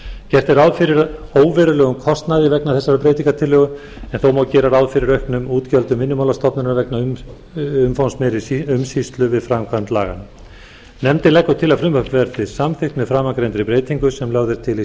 gert er ráð fyrir óverulegum kostnaði vegna þessarar breytingartillögu en þó má gera ráð fyrir auknum útgjöldum vinnumálastofnunar vegna umfangsmeiri umsýslu við framkvæmd laganna nefndin leggur til að frumvarpið verði samþykkt með framangreindri breytingu sem lögð er til í